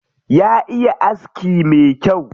Ya iya aski me kyau.